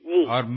হ্যাঁ ঠিকই